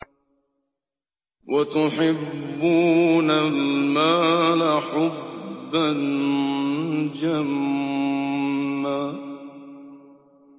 وَتُحِبُّونَ الْمَالَ حُبًّا جَمًّا